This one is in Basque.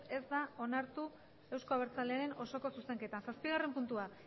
ez da onartu euzko abertzalearen osoko zuzenketa zazpigarren puntua